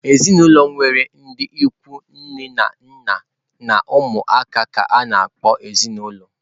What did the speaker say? Ezinụlọ nwere ndị ikwu nne na nna na ụmụ ka a na-akpọ ezinaụlọ.